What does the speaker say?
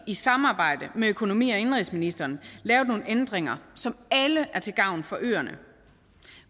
i samarbejde med økonomi og indenrigsministeren lavet nogle ændringer som alle er til gavn for øerne